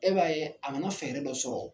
E b'a ye a nana fɛɛrɛ dɔ sɔrɔ